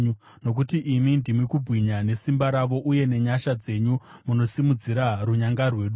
Nokuti imi ndimi kubwinya nesimba ravo, uye nenyasha dzenyu munosimudzira runyanga rwedu.